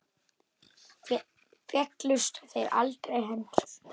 Féllust þér aldrei hendur?